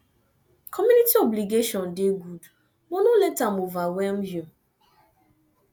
community obligation dey good but no let am overwhelm you